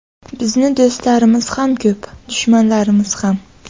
Bizni do‘stlarimiz ham ko‘p, dushmanlarimiz ham.